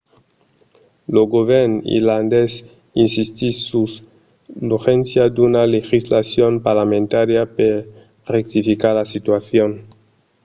lo govèrn irlandés insistís sus l'urgéncia d'una legislacion parlamentària per rectificar la situacion